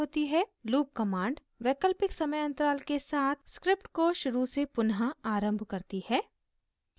loop command वैकल्पिक समय अंतराल के साथ script को शुरू से पुनः आरम्भ करती है